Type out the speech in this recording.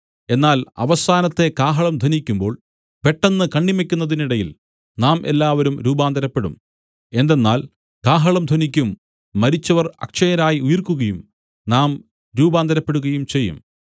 എന്നാൽ അവസാനത്തെ കാഹളം ധ്വനിക്കുമ്പോൾ പെട്ടെന്ന് കണ്ണിമയ്ക്കുന്നിടയിൽ നാം എല്ലാവരും രൂപാന്തരപ്പെടും എന്തെന്നാൽ കാഹളം ധ്വനിക്കും മരിച്ചവർ അക്ഷയരായി ഉയിർക്കുകയും നാം രൂപാന്തരപ്പെടുകയും ചെയ്യും